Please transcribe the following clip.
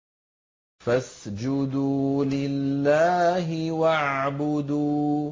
فَاسْجُدُوا لِلَّهِ وَاعْبُدُوا ۩